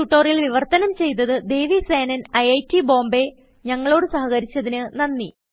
ഈ ട്യൂട്ടോറിയൽ വിവർത്തനം ചെയ്തത് ദേവി സേനൻIIT Bombayഞങ്ങളോട് സഹകരിച്ചതിന് നന്ദി